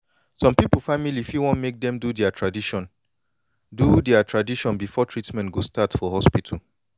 some people family fit wan make dem do dea tradition do dea tradition before treatment go start for hospital